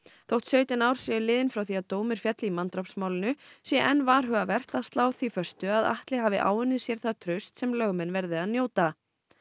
þótt sautján ár séu liðin frá því að dómur féll í manndrápsmálinu sé enn varhugavert að slá því föstu að Atli hafi áunnið sér það traust sem lögmenn verði að njóta